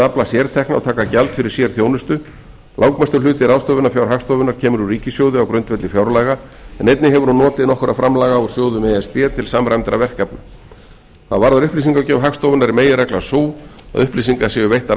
að afla sértekna og taka gjald fyrir sérþjónustu langmestur hluti ráðstöfunarfjár hagstofunnar kemur úr ríkissjóði á grundvelli fjárlaga en einnig hefur hún notið nokkurra framlaga úr sjóðum e s b til samræmdra verkefna hvað varðar upplýsingagjöf hagstofunnar er meginreglan sú að upplýsingar séu veittar